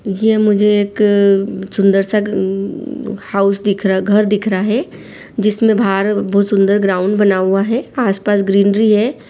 ये मुझे एक सुंदर सा उ हाउस दिख रहा घर दिख रहा है जिसमे बाहर बहुत सुन्दर ग्राउंड बना हुआ है आस-पास ग्रीनरी है।